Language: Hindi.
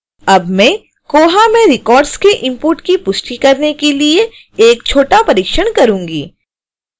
अब में koha में records के इंपोर्ट की पुष्टि करने के लिए एक छोटा परीक्षण करूँगी